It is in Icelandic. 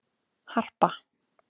Harpa